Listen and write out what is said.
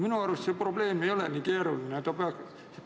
Minu arust ei ole see probleem nii keeruline.